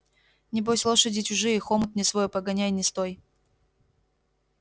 небось лошади чужие хомут не свой погоняй не стой